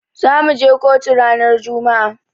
Zamu je kotu ranar juma'a.